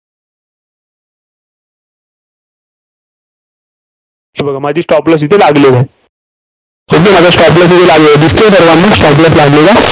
हे बघा. माझी Stop loss इथं लागलेली आहे. दिसतोय सर्वांना stop loss लागलेला?